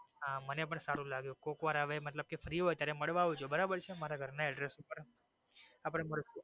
હા મને પણ સારું લાગ્યું કોક વાર મતલબ free હોઈ ત્યારે મળવા આવજો બરાબર છે મારા ઘર ના address ઉપર અપડે મળશુ.